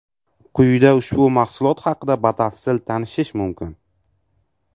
Quyida ushbu mahsulot haqida batafsil tanishish mumkin.